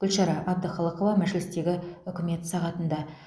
гүлшара әбдіқалықова мәжілістегі үкімет сағатында